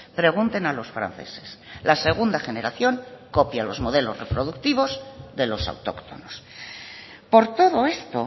pregunten a los franceses la segunda generación copia los modelos reproductivos de los autóctonos por todo esto